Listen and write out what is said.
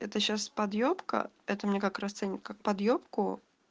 это сейчас подъебка это мне как расценивать как подьебку